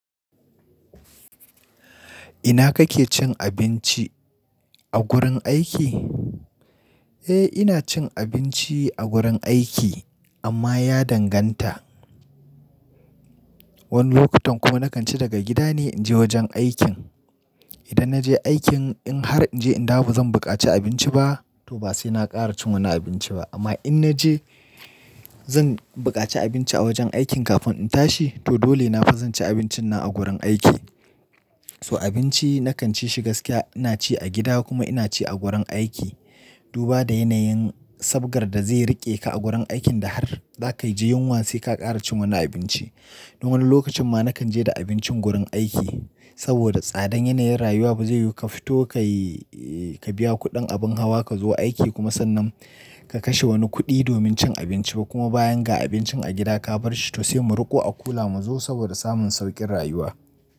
Ina kake cin abinci? A gurin aiki? Eh ina cin abinci a gurin aiki amma ya danganta. Wani lokutan kuma na kan ci daga gida ne in je wajen aikin. Idan na je aikin in har in je in dawo bazan buƙaci abinci ba to ba sai na ƙara cin wani abinci ba. Amma in na je zan buƙaci abinci a wajen aikin kafin in tashi to dole na fa zan ci abincin nan a gurin aiki. To abinci na kan ci shi gaskiya ina ci a gida kuma ina ci a gurin aiki. Duba da yanayin sabgar da zai riƙe ka a gurin aikin da har za ka ji yunwa sai ka ƙara cin wani abinci. Don wani lokacin ma na kan je da abincin gurin aiki saboda tsadan yanayin rayuwa ba zai yiwu ka fito ka yi, ka biya kuɗin abin hawa ka zo aiki kuma sannan ka kashe wani kuɗi domin cin abinci ba kuma bayan ga abincin a gida ka bar shi to sai mu riƙo a kula mu zo saboda samun sauƙin rayuwa.